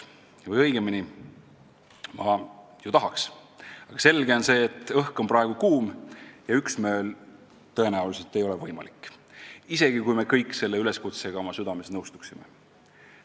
Või õigemini, ma ju tahaks, aga on selge, et õhk on praegu kuum ja üksmeel tõenäoliselt ei ole võimalik, isegi kui me kõik selle üleskutsega oma südames nõustuksime.